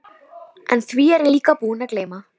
En því er ég líka búinn að gleyma.